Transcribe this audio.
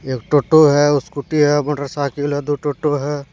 एक टोटो है स्कूटी है मोटरसाइकिल है दो टोटो है।